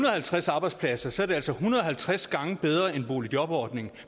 og halvtreds arbejdspladser så er det altså en hundrede og halvtreds gange bedre end boligjobordningen